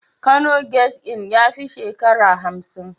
Kano guest Inn ya fi shekarar hamsin.